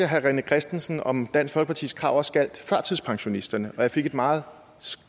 herre rené christensen om dansk folkepartis krav også gjaldt førtidspensionisterne og jeg fik et meget